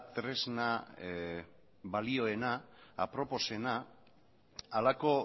tresna balioena aproposena halako